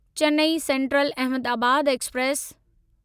Chennai central Ahmedabad express